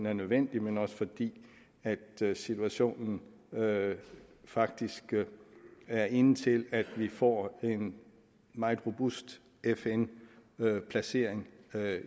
er nødvendigt men også fordi situationen faktisk er inde til at vi får en meget robust fn placering